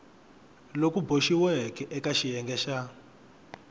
loku boxiweke eka xiyenge xa